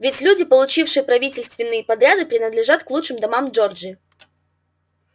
ведь люди получившие правительственные подряды принадлежат к лучшим домам джорджии